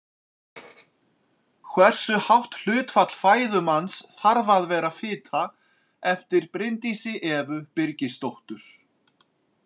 Hversu hátt hlutfall fæðu manns þarf að vera fita eftir Bryndísi Evu Birgisdóttur.